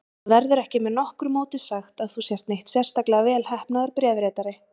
Það verður ekki með nokkru móti sagt að þú sért neitt sérstaklega velheppnaður bréfritari.